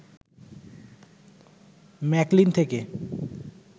McLean থেকে